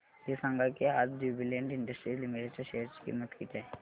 हे सांगा की आज ज्युबीलेंट इंडस्ट्रीज लिमिटेड च्या शेअर ची किंमत किती आहे